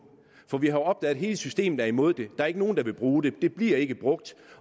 for vi har opdaget at hele systemet er imod det og der ikke er nogen der vil bruge det det bliver ikke brugt